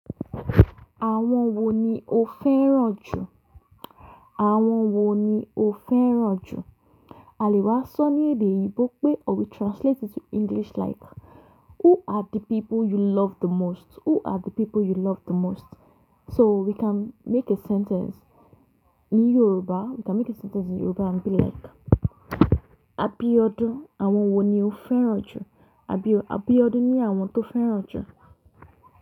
Àwọn wo ni o fẹ́ràn jù? Àwọn wo ni o fẹ́ràn jù? A lè wá sọ ní èdè eyinbo pé or we translate it to English like who are the people you love the most? Who are the people you love the most? So we can make a sentence ní Yoruba, we can make a sentence in Yoruba and be like, Abiodun, àwọn wo ni o fẹ́ràn jù? Abio-Abiodun ní àwọn tó fẹ́ràn jù.